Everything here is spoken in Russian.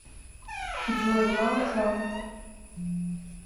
джой лауд саунд